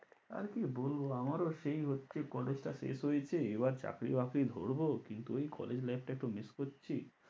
আর কি বলবো? আমারও সেই হচ্ছে college টা শেষ হয়েছে এবার চাকরি বাকরি ধরবো, কিন্তু ঐ college life টা একটু miss করছি।